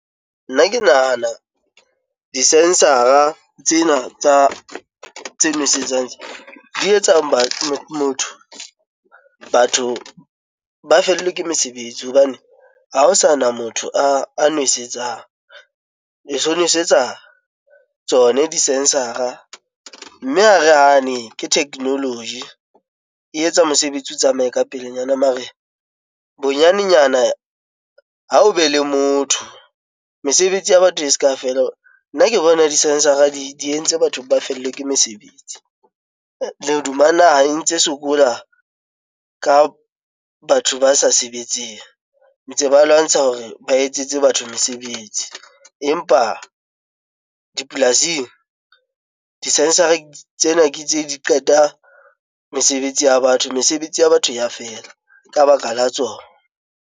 Nna ke nahana di-sensor-a tsena tsa tse nwesetsang, tse di etsang batho motho batho ba fellwa ke mesebetsi, hobane ha ho sana motho a nwesetsa e so nosetsa tsona di-sensor-a mme ha re hane ke technology e etsa mosebetsi o tsamaye ka pelenyana mare bonyanenyana ha o be le motho mesebetsi ya batho e se ka fela nna ke bona di-sensor-a di entse batho ba fellwe ke mesebetsi, le hoduma naha e ntse sokola ka batho ba sa sebetseng ntse ba lwantsha hore ba etsetse batho mesebetsi, empa dipolasing di-sensory tsena ke tse di qeta mesebetsi ya batho mesebetsi ya batho ya fela ka baka la tsona.